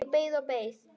Ég beið og beið.